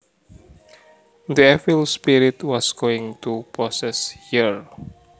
The evil spirit was going to possess her